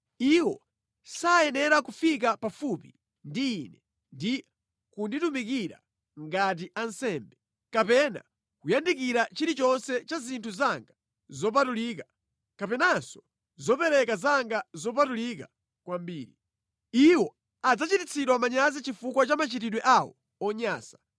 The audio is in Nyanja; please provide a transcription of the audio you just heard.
Iwo sayenera kufika pafupi ndi Ine ndi kunditumikira ngati ansembe, kapena kuyandikira chilichonse cha zinthu zanga zopatulika, kapenanso zopereka zanga zopatulika kwambiri. Iwo adzachititsidwa manyazi chifukwa cha machitidwe awo onyansa.